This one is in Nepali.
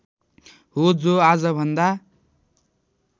हो जो आजभन्दा